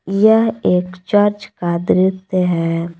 यह एक चर्च का दृश्य है।